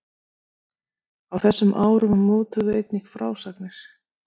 Á þessum árum mótuðu einnig frásagnir